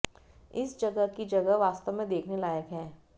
इस जगह की जगह वास्तव में देखने लायक है